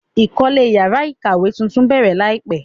Ìkọ́lé yàrá ìkàwé tuntun bẹ̀rẹ̀ láìpẹ́.